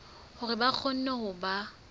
hore ba kgone ho ba